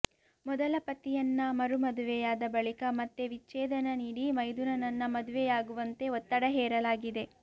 ಮೊದಲ ಪತಿಯನ್ನ ಮರು ಮದುವೆಯಾದ ಬಳಿಕ ಮತ್ತೆ ವಿಚ್ಚೇದನ ನೀಡಿ ಮೈದುನನ್ನ ಮದುವೆಯಾಗುವಂತೆ ಒತ್ತಡ ಹೇರಲಾಗಿದೆ